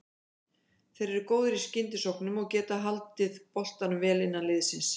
Þeir eru góðir í skyndisóknum og getað haldið boltanum vel innan liðsins.